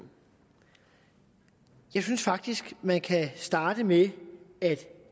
jeg synes faktisk at man kan starte med at